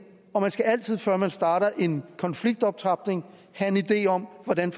og man skal altid før man starter en konfliktoptrapning have en idé om hvordan